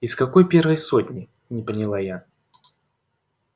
из какой первой сотни не поняла я